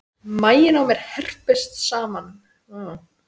Maginn á mér herpist saman.